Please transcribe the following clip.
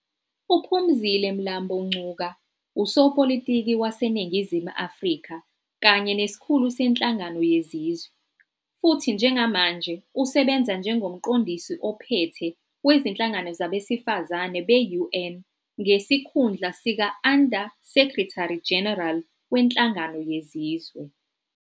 UPhumzile Mlambo Ngcuka usopolitiki waseNingizimu Afrika kanye nesikhulu seNhlangano Yezizwe, futhi njengamanje usebenza njengoMqondisi Ophethe Wezinhlangano Zabesifazane be-UN ngesikhundla sika-Under-Secretary-General weNhlangano Yezizwe.